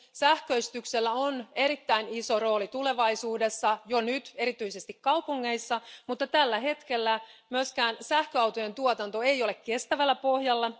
Sähköistyksellä on erittäin iso rooli tulevaisuudessa ja jo nyt erityisesti kaupungeissa, mutta tällä hetkellä myöskään sähköautojen tuotanto ei ole kestävällä pohjalla.